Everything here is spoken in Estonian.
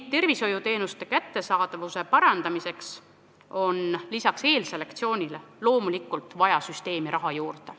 Kättesaadavuse parandamiseks on lisaks eelselektsioonile loomulikult vaja süsteemi ka raha juurde.